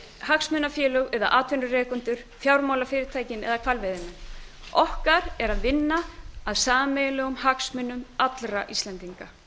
hagsmunafélög eða atvinnurekendur fjármálafyrirtækin eða hvalveiðimenn okkar er að vinna að sameiginlegum hagsmunum allra íslendinga